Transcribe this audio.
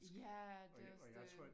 Ja det også det